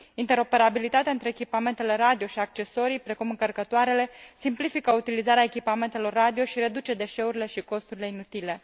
Interoperabilitatea între echipamentele radio și accesorii, precum încărcătoarele, simplifică utilizarea echipamentelor radio și reduce deșeurile și costurile inutile.